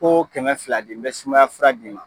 Ko kɛmɛ fila di n bɛ sumaya fura d'i ma!